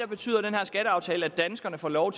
betyder den her skatteaftale at danskerne får lov